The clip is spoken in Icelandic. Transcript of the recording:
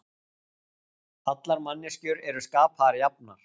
Allar manneskjur eru skapaðar jafnar